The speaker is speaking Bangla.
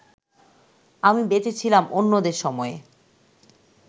আমি বেঁচে ছিলাম অন্যদের সময়ে